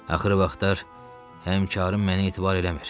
Axırı vaxtlar həmkərim mənə etibar eləmir.